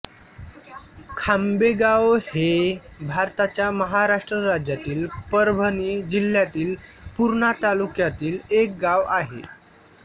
खांबेगाव हे भारताच्या महाराष्ट्र राज्यातील परभणी जिल्ह्यातील पूर्णा तालुक्यातील एक गाव आहे